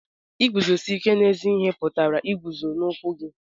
Iguzosi ike n'ezi ihe pụtara iguzo n'okwu gị.